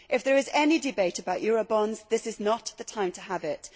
If there is any debate about Eurobonds this is not the time to have it.